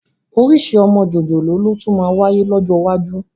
Orísìí ọmọ jòjòló ló tún máa wáyé lọ́jọ́ iwájú